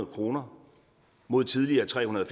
kroner mod tidligere trehundrede